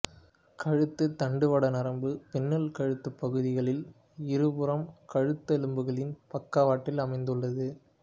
கழுத்து தண்டுவட நரம்பு பின்னல் கழுத்துப் பகுதிகளில் இருபுறமும் கழுத்தெலும்புகளின் பக்கவாட்டில் அமைந்துள்ளது